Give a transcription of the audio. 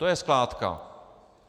To je skládka.